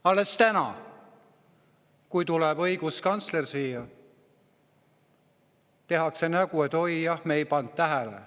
Alles täna, kui on õiguskantsler siia tulnud, tehakse nägu, et oi, tõesti, me ei pannud tähele.